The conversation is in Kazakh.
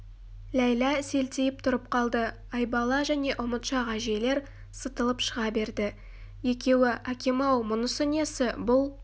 ләйлә селтиіп тұрып қалды айбала және ұмытшақ әжейлер сытылып шыға берді екеуі әкем-ау мұнысы несі бұл